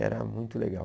Era muito legal.